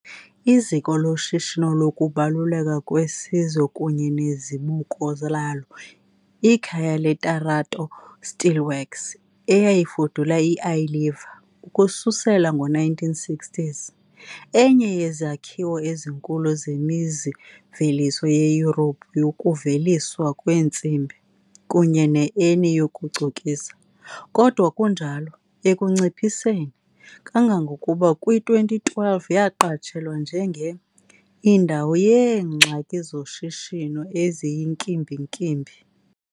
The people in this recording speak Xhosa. Iziko loshishino lokubaluleka kwesizwe kunye nezibuko lalo, ikhaya le-Tarato steelworks eyayifudula i-Iliva, ukususela ngo-1960s, enye yezakhiwo ezinkulu zemizi-mveliso eYurophu yokuveliswa kweentsimbi, kunye ne-ENI yokucokisa , kodwa kunjalo. ekunciphiseni, kangangokuba kwi-2012 yaqatshelwa njenge "indawo yeengxaki zoshishino eziyinkimbinkimbi" .